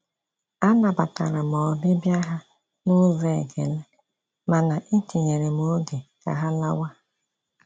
Anabatara m ọbịbịa ha n’ụzọ ekele, mana etinyere m oge ka ha lawa.